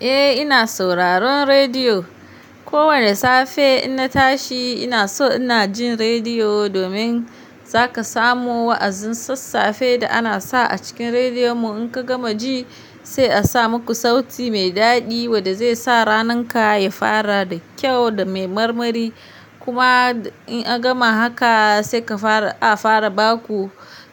Eh ina sauraron rediyo. Ko wane safe inna tashi ina so ina jin rediyo domin zaka samu wa'azin sassafe da ana sa a cikin rediyon mu in ka gama ji sai a sa muku sauti mai daɗi wanda zai sa rananka ya fara da kyau da mai marmari. Kuma in aka gama haka sai ka fara a fara baku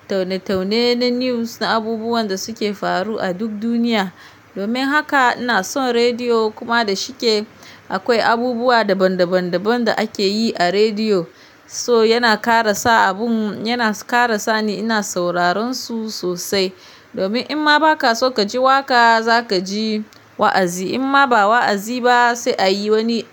taune-taune na news na abubuwan da suke faru a duk duniya. Domin haka ina son rediyo kuma da shike akwai abubuwa daban daban daban da akeyi a rediyo. So yana karasa abun yana kara sani ina sauraron su sosai. Domin in ma baka so kaji waƙa zaka ji wa'azi. In ma ba wa'azi ba sai a yi wani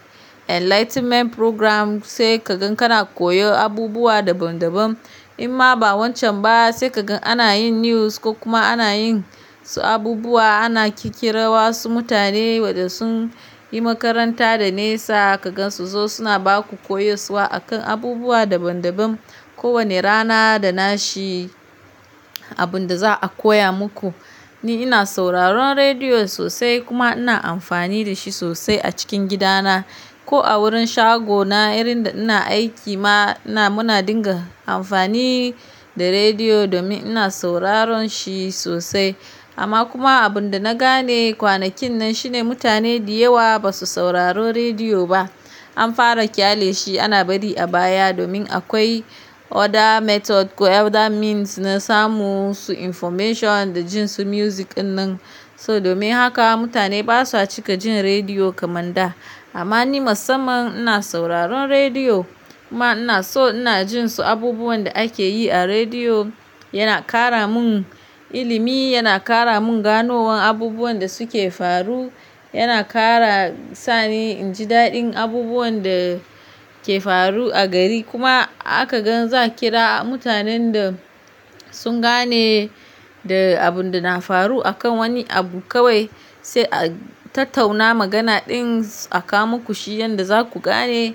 enlightenment program sai kagan kana koyo abubuwa daban daban. In ma ba wancan ba sai kagan ana yin news ko kuma ana yin su abubuwa ana ƙirƙira wasu mutane wanda sun yi makaranta da nesa ka gan su zo suna baku koyo suwa akan abubuwa daban daban. Ko wane rana da nashi abun da za a koya muku. Ni ina sauraron rediyo sosai kuma ina amfani da shi sosai a cikin gidana. Ko a wurin shagona irin da ina aiki ma ina muna dinga amfani da rediyo domin ina sauraron shi sosai. Amma kuma abin da na gane kwanakin nan shine mutane diyawa ba su sauraro rediyo ba. An fara kyale shi ana bari a baya domin akwai other method ko other means na samu su information da jin su music dinnan. So domin haka mutane basa cika jin rediyo kamar da. Amma ni masamman ina sauraron rediyo kuma ina so ina jin su abubuwan da akeyi a rediyo. Yana kara mun ilimi, yana kara mun ganowan abubuwan da suke faru, yana kara sani inji daɗin abubuwan da ke faru a gari. Kuma aka gan za ƙira mutanen da sun gane da abun da na faru akan wani abu kawai sai a tattauna magana din a ka muku shi yanda zaku gane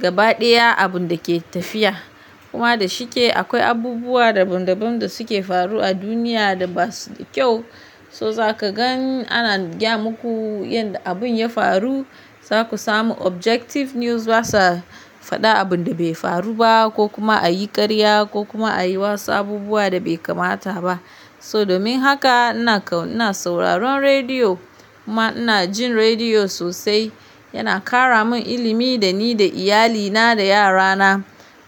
gabaɗaya abun dake tafiya. Kuma da shike akwai abubuwa daban daban da suke faru a duniya da basu da kyau. So za ka gan ana gyam muku yanda abun ya faru. Za ku samu objective news basa faɗa abun da bai faru ba ko kuma a yi ƙarya ko kuma a yi wasu abubuwa da bai kamata ba. So domin haka ina kau ina sauraron rediyo kuma ina jin rediyo sosai. Yana kara mun ilimi da ni da iyalina da yarana.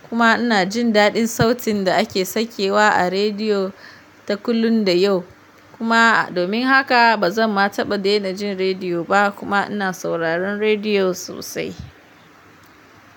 Kuma ina jin daɗin sautin da ake sakewa a rediyo ta kullum da yau. Kuma domin haka bazan ma taɓa daina jin rediyo ba kuma ina sauraron rediyo sosai.